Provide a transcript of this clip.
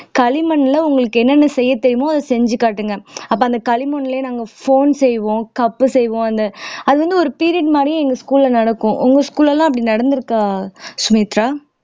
களிமண்ல உங்களுக்கு என்னென்ன செய்ய தெரியுமோ அதை செஞ்சு காட்டுங்க அப்ப அந்த களிமண்லயே நாங்க phone செய்வோம் cup செய்வோம் அது வந்து ஒரு period மாதிரியே எங்க school ல நடக்கும் உங்க school ல எல்லாம் அப்படி நடந்திருக்கா சுமித்ரா